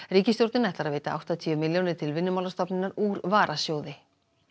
ríkisstjórnin ætlar að veita áttatíu milljónir til Vinnumálastofnunar úr varasjóði